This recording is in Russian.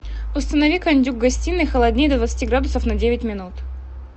установи кондюк в гостиной холоднее до двадцати градусов на девять минут